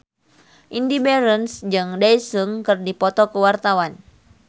Indy Barens jeung Daesung keur dipoto ku wartawan